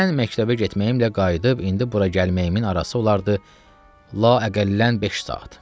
Mən məktəbə getməyimlə qayıdıb indi bura gəlməyimin arası olardı la əqəllən beş saat.